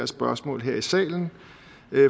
spørgsmål her i salen